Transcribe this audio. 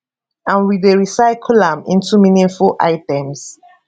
and we dey recycle am into meaningful items